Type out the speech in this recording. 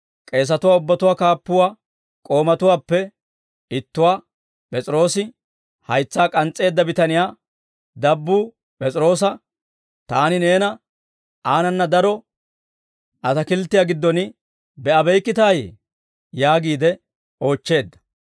K'eesatuwaa ubbatuwaa kaappuwaa k'oomatuwaappe ittuwaa, P'es'iroose haytsaa k'ans's'eedda bitaniyaa dabbuu P'es'iroosa, «Taani neena aanana daro ataakilttiyaa giddon be'abeykkitayee?» yaagiide oochcheedda.